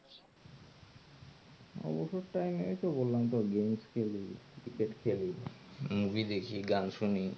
অবসর time এই তো বললাম তো game খেলি cricket খেলি movie দেখি গান শুনি এই তো এগুলাই